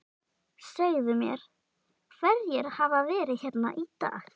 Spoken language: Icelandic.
Segðu mér, hverjir hafa verið hérna í dag?